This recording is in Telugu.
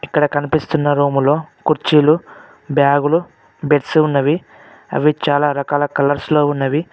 ఇక్కడ కనిపిస్తున్న రూములో కుర్చీలు బ్యాగులు బెడ్స్ ఉన్నవి అవి చాలా రకాల కలర్స్లో ఉన్నవి.